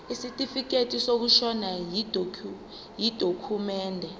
isitifikedi sokushona yidokhumende